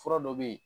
Fura dɔ bɛ yen